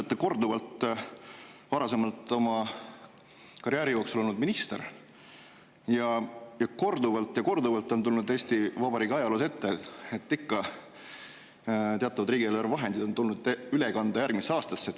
Te olete korduvalt oma varasema karjääri jooksul olnud minister ning korduvalt ja korduvalt on tulnud Eesti Vabariigi ajaloos ette, et ikka on teatavaid riigieelarvevahendeid tulnud üle kanda järgmisse aastasse.